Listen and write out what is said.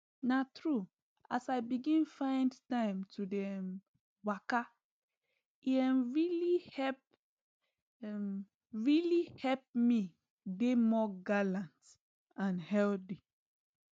na true as i begin find time to dey um waka e um really help um really help me dey more gallant and healthy